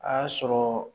A y'a sɔrɔ